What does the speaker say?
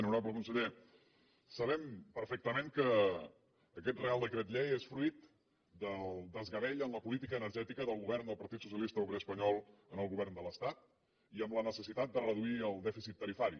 honorable conseller sabem perfectament que aquest reial decret llei és fruit del desgavell en la política energètica del govern del partit socialista obrer espanyol en el govern de l’estat i amb la necessitat de reduir el dèficit tarifari